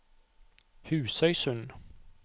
Husøysund